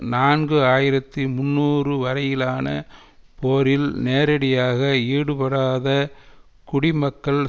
நான்கு ஆயிரத்தி முன்னூறு வரையிலான போரில் நேரடியாக ஈடுபடாத குடிமக்கள்